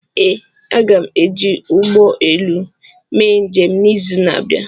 ee, aga m eji ụgbọ elu mee njem n'izu na-abịa